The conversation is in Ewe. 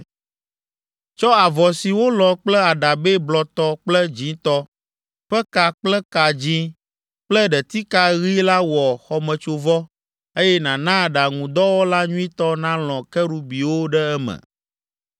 “Tsɔ avɔ si wolɔ̃ kple aɖabɛ blɔtɔ kple dzĩtɔ ƒe ka kple ka dzĩ kple ɖetika ɣi la wɔ xɔmetsovɔ, eye nàna aɖaŋudɔwɔla nyuitɔ nalɔ̃ Kerubiwo ɖe eme.